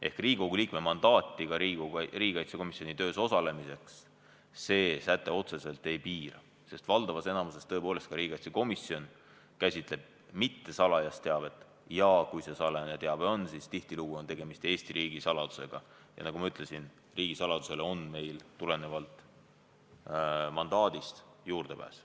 Ehk Riigikogu liikme mandaati ka riigikaitsekomisjoni töös osalemiseks see säte otseselt ei piira, sest riigikaitsekomisjon käsitleb enamasti mittesalajast teavet ja kui ongi salajane teave, siis tihtilugu on tegemist Eesti riigi saladusega, aga nagu ma ütlesin, riigisaladusele on meil kõigil juurdepääs tulenevalt mandaadist.